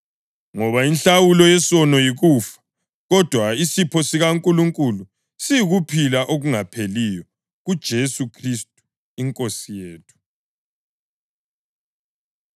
Ngoba inhlawulo yesono yikufa, kodwa isipho sikaNkulunkulu siyikuphila okungapheliyo kuJesu Khristu iNkosi yethu.